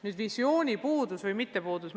Nüüd visiooni puudusest või mittepuudusest.